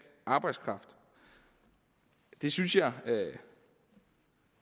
arbejdskraft det synes jeg